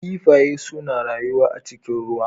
Kiffaye suna rayuwa a cikin ruwa.